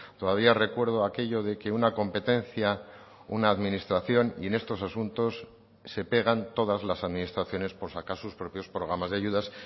todavía recuerdo aquello de que una competencia una administración y en estos asuntos se pegan todas las administraciones por sacar sus propios programas de ayudas